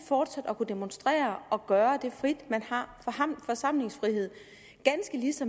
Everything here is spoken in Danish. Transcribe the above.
fortsat at kunne demonstrere og gøre det frit man har forsamlingsfrihed